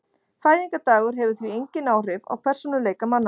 Fæðingardagur hefur því engin áhrif á persónuleika manna.